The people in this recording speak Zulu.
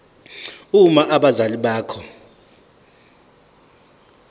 uma abazali bakho